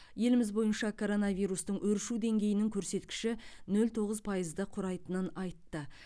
еліміз бойынша коронавирустың өршу деңгейінің көрсеткіші нөл тоғыз пайызды құрайтынын айтты